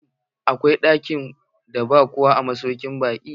Shin, akwai ɗakin da ba kowa a masaukin baƙin?